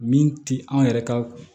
Min ti an yɛrɛ ka